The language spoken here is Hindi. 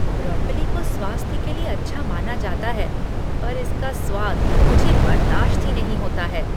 ब्रोकोली को स्वास्थ्य के लिए अच्छा माना जाता है पर इसका स्वाद मुझे बर्दाश्त ही नहीं होता है।